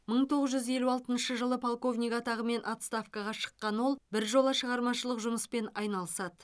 мың тоғыз жүз елу алтыншы жылы полковник атағымен отставкаға шыққан ол біржола шығармашылық жұмыспен айналысады